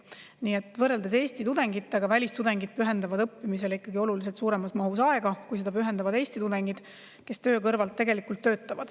Nii et võrreldes Eesti tudengitega pühendavad välistudengid õppimisele ikkagi oluliselt suuremas mahus aega, kui seda pühendavad Eesti tudengid, kes kõrvalt töötavad.